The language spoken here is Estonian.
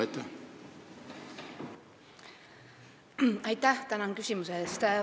Tänan küsimuse eest!